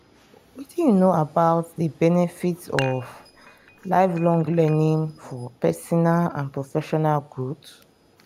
wetin you know about di benefits of lifelong learning for personal and professional growth?